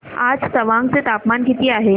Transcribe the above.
आज तवांग चे तापमान किती आहे